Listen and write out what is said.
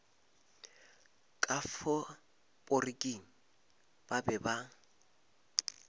ka faporiking ba be ba